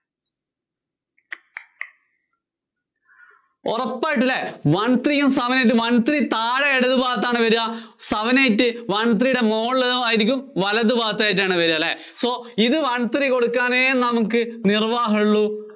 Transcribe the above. ഉറപ്പായിട്ടും അല്ലേ? one three യും seven eight ഉം one three താഴെ ഇടത് ഭാഗത്താണ് വര്വ, seven eight one three യുടെ മോള്‍ ഭാഗത്തായിരിക്കും, വലതുഭാഗത്തായിട്ടാണ് വരുവാ അല്ലേ. so ഇത് one three കൊടുക്കാനേ നമുക്ക് നിര്‍വ്വാഹം ഉള്ളൂ